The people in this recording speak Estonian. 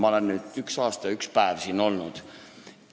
Ma olen nüüd üks aasta ja üks päev siin olnud.